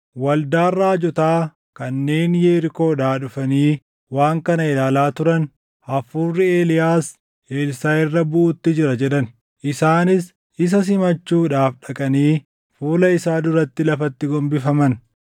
Waldaan raajotaa kanneen Yerikoodhaa dhufanii waan kana ilaalaa turan, “Hafuurri Eeliyaas Elsaaʼi irra buʼuutti jira” jedhan. Isaanis isa simachuudhaaf dhaqanii fuula isaa duratti lafatti gombifaman.